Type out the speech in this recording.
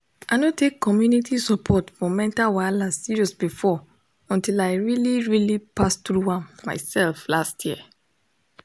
i no take community support for mental wahala serious before until i really really pass through am myself last year